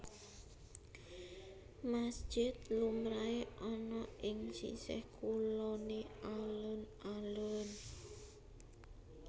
Masjid lumrahé ana ing sisih kuloné alun alun